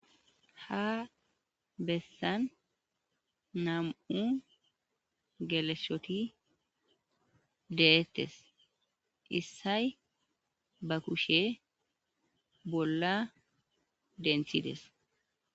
Ha bessani namu'u geleshoti dettesi. Issayi baa kushe bolla denthidesi.